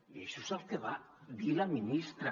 i això és el que va dir la ministra